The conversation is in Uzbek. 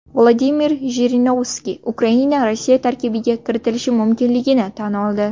Vladimir Jirinovskiy Ukraina Rossiya tarkibiga kiritilishi mumkinligini tan oldi.